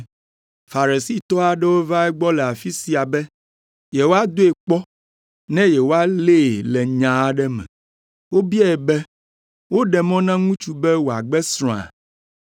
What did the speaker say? Farisitɔ aɖewo va egbɔ le afi sia be yewoadoe kpɔ ne yewoalée le nya aɖe me. Wobiae be, “Woɖe mɔ na ŋutsu be wòagbe srɔ̃a?”